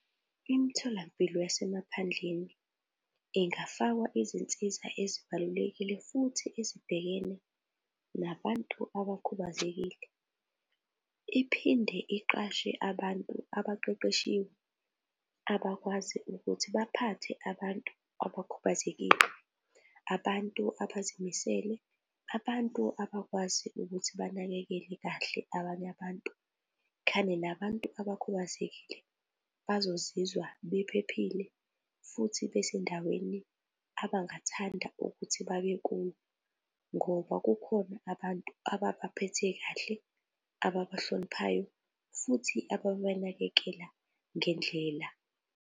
Imitholampilo yasemaphandleni ingafakwa izinsiza ezibalulekile futhi ezibhekene nabantu abakhubazekile. Iphinde iqashe abantu abaqeqeshiwe abakwazi ukuthi baphathe abantu abakhubazekile, abantu abazimisele, abantu abakwazi ukuthi banakekele kahle abanye abantu. Khane nabantu abakhubazekile bazozizwa bephephile futhi besendaweni abangathanda ukuthi babekuyo ngoba kukhona abantu ababaphethe kahle, ababahloniphayo futhi ababanakekela ngendlela.